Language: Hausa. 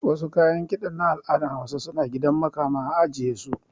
Wasu kayan kiɗan na al'adar hausa suna gidan makama a ajiye